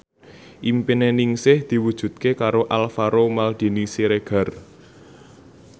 impine Ningsih diwujudke karo Alvaro Maldini Siregar